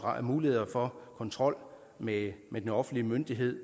mulighed for kontrol med den offentlige myndighed